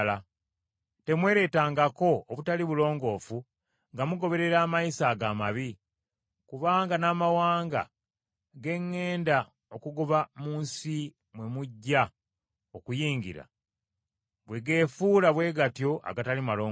“ ‘Temwereetangako obutali bulongoofu nga mugoberera amayisa ago amabi; kubanga n’amawanga ge ŋŋenda okugoba mu nsi mwe mujja okuyingira bwe geefuula bwe gatyo agatali malongoofu;